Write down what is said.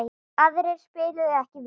Aðrir spiluðu ekki vel.